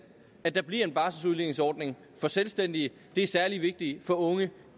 at der bliver en barseludligningsordning for selvstændige det er særlig vigtigt for unge